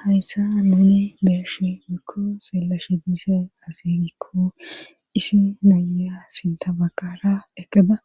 Hayssa nuuni beeshe mikko seelashe dise asigikko isi nayya sintabakara ekaba